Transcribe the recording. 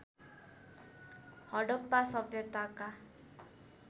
Harappa सभ्यताका